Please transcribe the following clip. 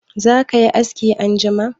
Zaka yi askin anjima?